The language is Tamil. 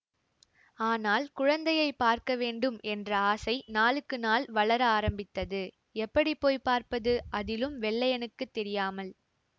ஆனால் குழந்தையை பார்க்கவேண்டும் என்ற ஆசை நாளுக்கு நாள் வளர ஆரம்பித்தது எப்படி போய் பார்ப்பது அதிலும் வெள்ளையனுக்குத் தெரியாமல்